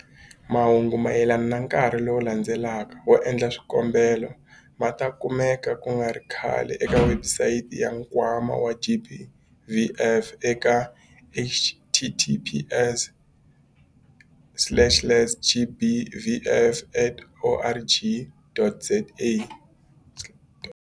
Mahungu mayelana na nkarhi lowu landzelaka wo endla swikombelo ma ta kumeka ku nga ri khale eka webusayiti ya Nkwama wa GBVF eka- https slash slash gbvf.org.za.